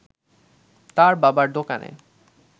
তার বাবার দোকানে